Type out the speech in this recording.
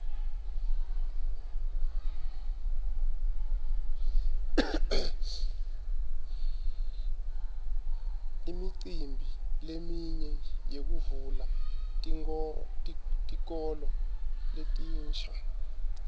imicimbi leminye yekuvula tikolo letinsha